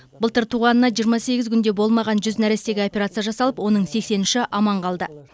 былтыр туғанына жиырма сегіз күн де болмаған жүз нәрестеге операция жасалып оның сексен үші аман қалды